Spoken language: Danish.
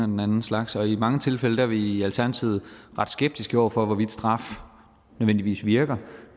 den anden slags og i mange tilfælde er vi i alternativet ret skeptiske over for hvorvidt straf nødvendigvis virker